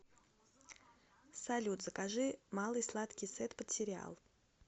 салют закажи малый сладкий сет под сериал